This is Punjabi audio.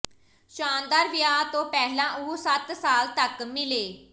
ਸ਼ਾਨਦਾਰ ਵਿਆਹ ਤੋਂ ਪਹਿਲਾਂ ਉਹ ਸੱਤ ਸਾਲ ਤਕ ਮਿਲੇ